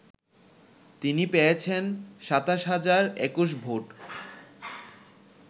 তিনি পেয়েছেন ২৭ হাজার ২১ ভোট